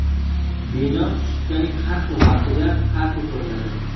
Bino sutkaning har xil vaqtida har xil ko‘rinadi.